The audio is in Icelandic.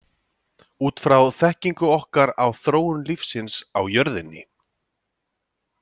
Út frá þekkingu okkar á þróun lífsins á jörðinni.